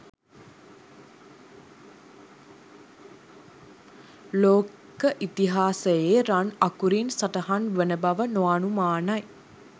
ලෝක ඉතිහාසයේ රන් අකුරින් සටහන් වන බව නොඅනුමානයි.